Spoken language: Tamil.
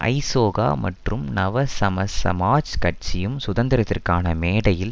ஐசோக மற்றும் நவசமசமாஜக் கட்சியும் சுதந்திரத்துக்கான மேடையில்